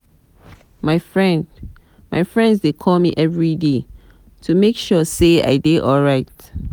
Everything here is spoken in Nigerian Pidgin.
my friends dey call me everyday to make sure sey i dey alright.